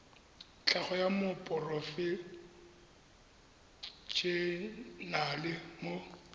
tlhago wa moporofe enale mo